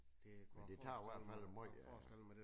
Men det tager i hvert fald måj øh